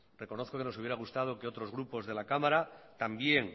reconozco que nos hubiera gustado que otros grupos de la cámara también